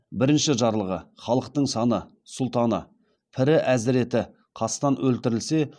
бірінші жарлығы халықтың ханы сұлтаны пірі әзіреті қастан өлтірілсе